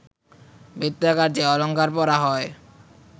বৃত্তাকার যে অলঙ্কার পরা হয়